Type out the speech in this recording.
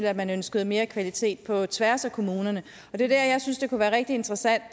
at man ønsker mere kvalitet på tværs af kommunerne det er der jeg synes det kunne være rigtig interessant